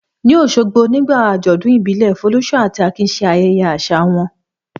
Ní Òṣogbo, nígbà àjọ̀dún ìbílẹ̀, Folúṣọ́ àti Akin ṣe ayẹyẹ àṣà wọn.